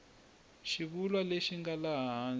xivulwa lexi nga laha hansi